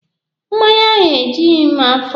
Mmanya ahụ e jughi m afọ.